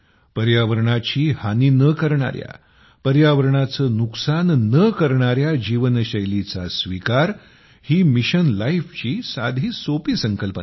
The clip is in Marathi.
पर्यावरणाची हानी न करणाऱ्या पर्यावरणाचे नुकसान न करणाऱ्या जीवनशैलीचा स्वीकार ही मिशन लाईफची साधीसोपी संकल्पना आहे